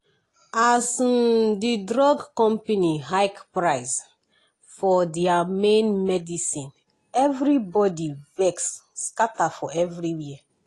as um the drug company hike price for thier main medicine everybody vex scatter for everywhere.